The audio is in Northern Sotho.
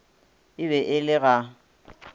e be e le ga